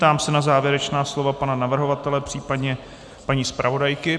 Ptám se na závěrečná slova pana navrhovatele, případně paní zpravodajky.